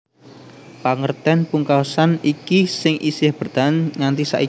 Pangertèn pungkasan iki sing isih bertahan nganti saiki